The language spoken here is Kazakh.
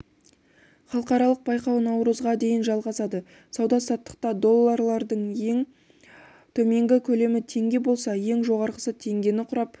халықаралық байқау наурызға дейін жалғасады сауда-саттықта доллардың ең төменгі көлемі теңге болса ең жоғарғысы теңгені құрап